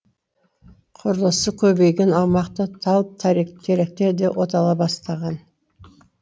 құрылысы көбейген аумақта тал теректер де отала бастаған